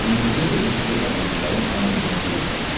İndicə dedin ki, Əbdülkərim qan eləyən deyildi.